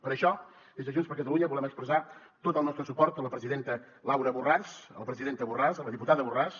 per això des de junts per catalunya volem expressar tot el nostre suport a la presidenta laura borràs a la presidenta borràs a la diputada borràs